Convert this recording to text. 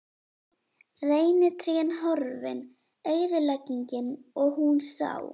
Reynitrén horfin- eyðileggingin- og hún sá.